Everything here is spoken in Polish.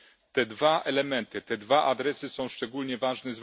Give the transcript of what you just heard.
Te dwa elementy, te dwa adresy są szczególnie ważne.